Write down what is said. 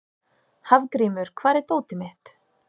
Hafgrímur, hvar er dótið mitt?